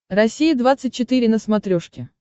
россия двадцать четыре на смотрешке